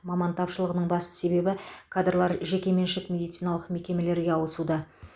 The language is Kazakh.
маман тапшылығының басты себебі кадрлар жекеменшік медициналық мекемелерге ауысуда